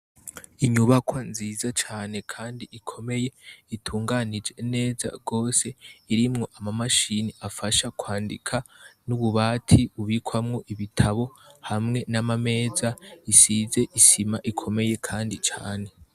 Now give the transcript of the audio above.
Inyubako nziza cane, kandi ikomeye itunganije neza rwose irimwo amamashini afasha kwandika n'ububati ubikwamwo ibitabo hamwe n'amameza isize isima ikomeye, kandi cane.